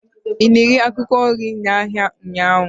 ị na-ere akwụkwọ nri n'ahịa ụnyaahụ?